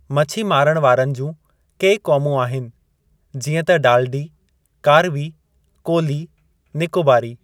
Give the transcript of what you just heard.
मछी मारणु वारनि जूं के क़ौमूं आहिनि जीअं त डालडी कारवी कोली निकोबारी।